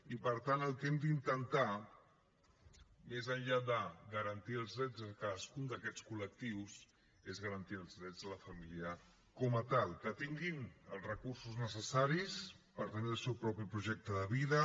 i per tant el que hem d’intentar més enllà de garantir els drets de cadascun d’aquests col·lectius és garantir els drets de la família com a tal que tinguin els recursos necessaris per tenir el seu projecte de vida